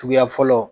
Suguya fɔlɔ